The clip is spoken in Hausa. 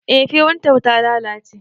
Eh firintar ta lalace